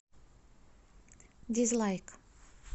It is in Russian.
дизлайк